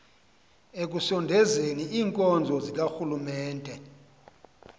ekusondezeni iinkonzo zikarhulumente